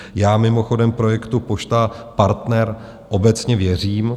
Já mimochodem projektu Pošta Partner obecně věřím.